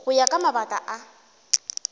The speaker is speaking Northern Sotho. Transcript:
go ya ka mabaka a